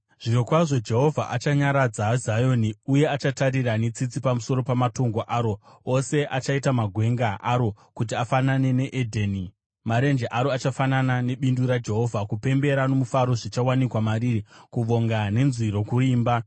Zvirokwazvo Jehovha achanyaradza Zioni, uye achatarira netsitsi pamusoro pamatongo aro ose; achaita magwenga aro kuti afanane neEdheni, marenje aro achafanana nebindu raJehovha. Kupembera nomufaro zvichawanikwa mariri, kuvonga nenzwi rokuimba.